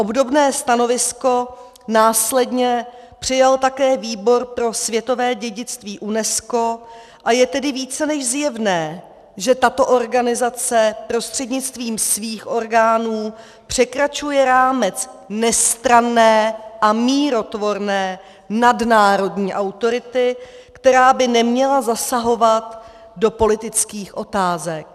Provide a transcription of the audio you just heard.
Obdobné stanovisko následně přijal také Výbor pro světové dědictví UNESCO, a je tedy více než zjevné, že tato organizace prostřednictvím svých orgánů překračuje rámec nestranné a mírotvorné nadnárodní autority, která by neměla zasahovat do politických otázek.